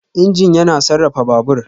Injin yana sarrafa Babur.